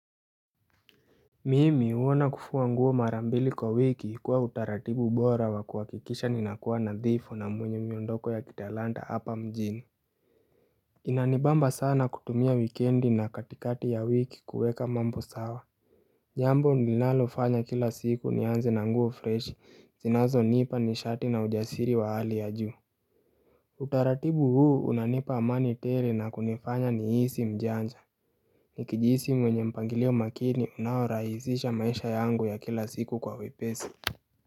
Mimi uona kufua nguo mara mbili kwa wiki ikuwa utaratibu bora wa kuwakikisha ninakuwa nadhifu na mwenye miondoko ya kitalanta hapa mjini Inanibamba sana kutumia wikendi na katikati ya wiki kuweka mambo sawa Jambo nilinalofanya kila siku nianze na nguo fresh sinazo nipa nishati na ujasiri wa hali ya juu Utaratibu huu unanipa amani tele na kunifanya ni hisi mjanja nikijisi mwenye mpangilio makini una rahisisha maisha yangu ya kila siku kwa wepesi.